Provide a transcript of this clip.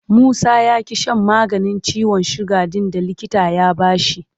Musa ya ƙi shan maganin ciwon suga ɗin da likita ya ba shi.